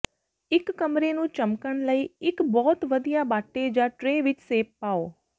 ਇੱਕ ਕਮਰੇ ਨੂੰ ਚਮਕਣ ਲਈ ਇੱਕ ਬਹੁਤ ਵਧੀਆ ਬਾਟੇ ਜਾਂ ਟ੍ਰੇ ਵਿੱਚ ਸੇਬ ਪਾਓ